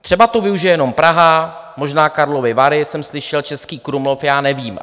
Třeba to využije jenom Praha, možná Karlovy Vary jsem slyšel, Český Krumlov, já nevím.